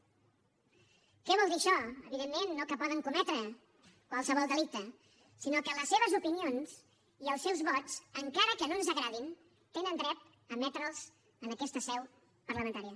què vol dir això evidentment no que poden cometre qualsevol delicte sinó que les seves opinions i els seus vots encara que no ens agradin tenen dret a emetre’ls en aquesta seu parlamentària